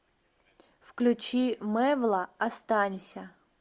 включи мэвла останься